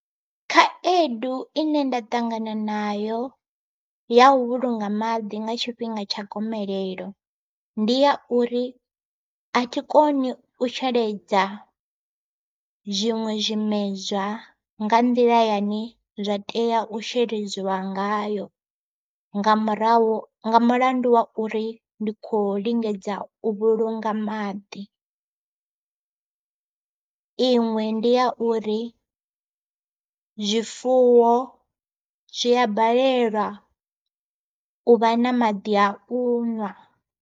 Khaedu ine nda ṱangana nayo ya vhulunga maḓi nga tshifhinga tsha gomelelo, ndi ya uri a thi koni u sheledza zwiṅwe zwimedzwa nga nḓila yane zwa tea u sheledziwa ngayo nga murahu nga mulandu wa uri ndi kho lingedza u vhulunga maḓi. Iṅwe ndi ya uri zwifuwo zwia balelwa u vha na maḓi au ṅwa.